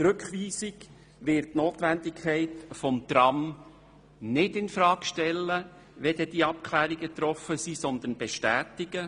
Die Rückweisung wird die Notwendigkeit des Trams nicht infrage stellen, wenn die Abklärungen getroffen sind, sondern diese bestätigen.